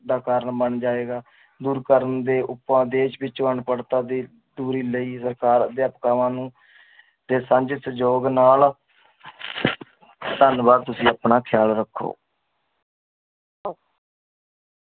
ਦਾ ਕਾਰਨ ਬਣ ਜਾਂਏਗਾ। ਦੁਰ ਕਰਨ ਦੇ ਉਪਾਏ- ਦੇਸ਼ ਵਿਚ ਅਨਪੜਤਾ ਦੀ ਦੂਰੀ ਲਯੀ ਸਰਕਾਰ ਅਧਿਆਪਕਾਵਾਂ ਨੂੰ ਦੇ ਸਾਂਝੇ ਸੰਜੋਗ ਨਾਲ ਧਨਵਾਦ ਤੁਸੀਂ ਆਪਣਾ ਖਿਆਲ ਰੱਖੋ